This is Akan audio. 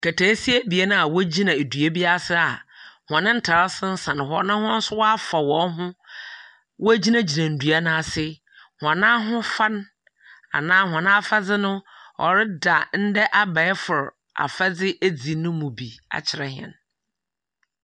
Nkataasia ebien a wogyina dua bi ase a hɔn atar san hɔ na hɔn so wɔafa hɔnho wogyimnagyina dua no ase. Hɔn ahofa no anaa hɔn afadze no, ɔreda ndɛ abaɛfor afadze edzi no mu bi akyerɛ hɛn.